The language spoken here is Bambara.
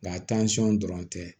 Nga dɔrɔn tɛ